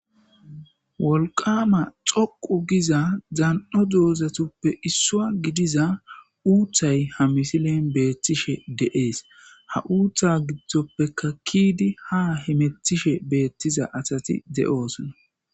Wolqama xoqu giza dan'o dozatuppe issuwa gidiza uuththay ha misilen beettishe de'ees ha uuththa giddoppeka ke'idi ha hemetishe beettiza asati de'oosona